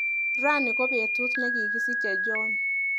Rani kobetut nekikisiche John.